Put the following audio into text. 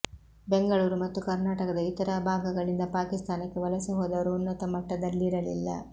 ಬೆಂಗಳೂರು ಮತ್ತು ಕರ್ನಾಟಕದ ಇತರ ಭಾಗಗಳಿಂದ ಪಾಕಿಸ್ತಾನಕ್ಕೆ ವಲಸೆ ಹೋದವರು ಉನ್ನತ ಮಟ್ಟದಲ್ಲಿರಲಿಲ್ಲ